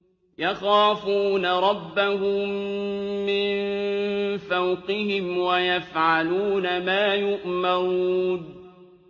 يَخَافُونَ رَبَّهُم مِّن فَوْقِهِمْ وَيَفْعَلُونَ مَا يُؤْمَرُونَ ۩